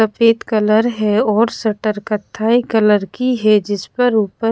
सफेद कलर है और शटर कत्थाई कलर की हैं जिस पर ऊपर--